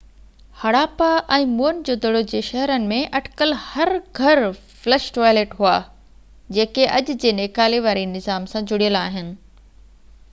Harappa ۽ Mohenjo Daro جي شهرن ۾ اٽڪل هر گهر فلش ٽوائلٽ هئا جيڪي اڄ جي نيڪالي واري نظام سان جڙيل آهن